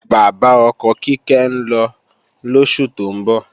Bàbá ọkọ Kíkẹ́ ń lọ lóṣù tó ń bọ̀